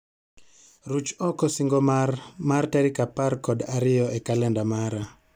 Ruch oko singo mar mar tarik apar kod ariyo e kalenda mara